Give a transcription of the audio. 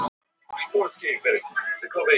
Handbragðið var hið sama.